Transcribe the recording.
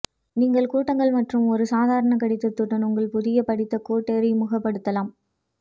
நீங்கள் கூட்டங்கள் மற்றும் ஒரு சாதாரண கடிதத்துடன் உங்கள் புதிய பிடித்த கோட் அறிமுகப்படுத்தலாம்